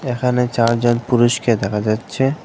এখানে চারজন পুরুষকে দেখা যাচ্ছে।